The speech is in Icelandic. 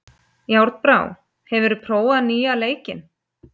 Járnbrá, hefur þú prófað nýja leikinn?